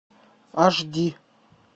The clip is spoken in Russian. аш ди